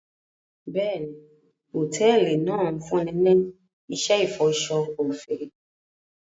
Bẹ́ẹ̀ni, hotẹẹli náa n funni ni iṣẹ ifọṣọ ọfẹ